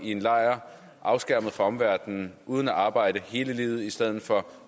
i en lejr afskærmet fra omverdenen uden at arbejde hele livet i stedet for